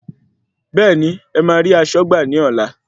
Bẹ́ẹ̀ni,ẹ máa rí aṣọ́gbà ní ọlá.